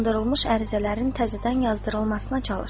Yandırılmış ərizələrin təzədən yazdırılmasına çalış.